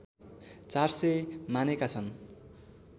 ४०० मानेका छन्